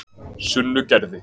Sunnugerði